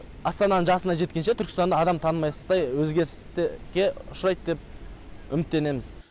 астананың жасына жеткенше түркістанды адам танымайсыз өзгерістер ұшырайды деп үміттенеміз